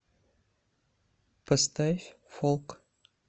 поставь фолк